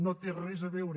no té res a veure